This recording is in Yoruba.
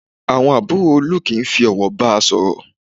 Àwọn àbúrò Olú kìí fi ọ̀wọ̀ ba sọ̀rọ̀